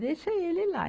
Deixa ele lá.